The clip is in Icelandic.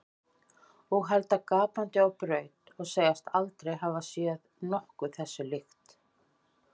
Og halda gapandi á braut og segjast aldrei hafa séð nokkuð þessu líkt.